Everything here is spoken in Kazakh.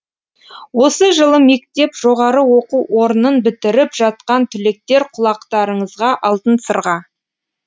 осы жылы мектеп жоғары оқу орнын бітіріп жатқан түлектер құлақтарыңызға алтын сырға